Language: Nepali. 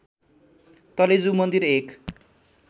तलेजु मन्दिर एक